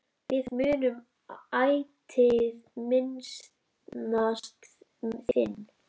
Við munum ætíð minnast þín.